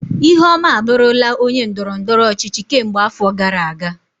Ihuoma abụrula onye ndọrọ ndọrọ ọchịchị kemgbe afọ gara aga.